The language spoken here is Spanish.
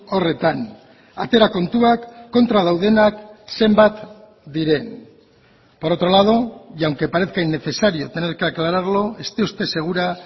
horretan atera kontuak kontra daudenak zenbat diren por otro lado y aunque parezca innecesario tener que aclararlo esté usted segura